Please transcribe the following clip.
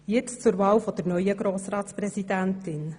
Nun zur Wahl der Grossratspräsidentin.